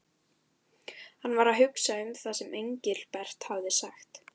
Hann var að hugsa um það sem Engilbert hafði sagt.